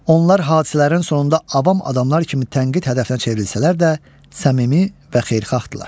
Onlar hadisələrin sonunda avam adamlar kimi tənqid hədəfinə çevrilsələr də, səmimi və xeyirxaqlardırlar.